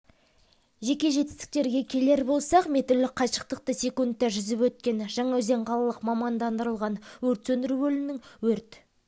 жеке жетістіктерге келер болсақ метрлік қашықтықты секундта жүзіп өткен жаңаөзен қалалық мамандандырылған өрт сөндіру бөлімінің өрт